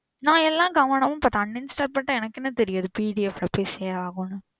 நான் எல்லாம் கவனமா பண்ணிட்டேன். Uninstall பன்னிட்டா எனக்கு எப்படி தெரியும் இது PDF எப்படி save ஆகும்னு?